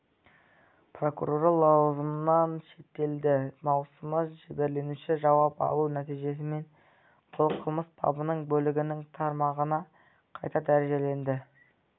прокуроры лауазымынан шеттетілді маусымда жәбірленушіден жауап алу нәтижесімен бұл қылмыс бабының бөлігінің тармағына қайта дәрежеленді